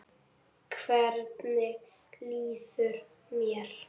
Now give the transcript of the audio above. Hvernig líður mér?